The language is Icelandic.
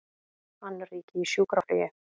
Annríki í sjúkraflugi